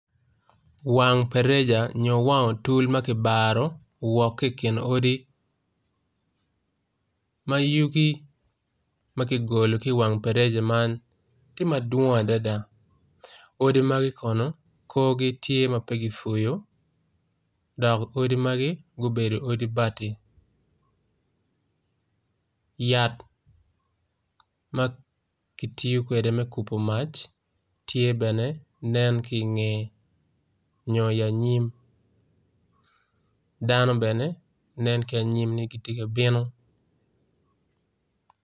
Wang otul ma ki baro ma yugi ma ki ononyo i wang otul man yat ma kitiyo kwede yat ma kitiyo kwede me kubo mac ki dano nen ki anyim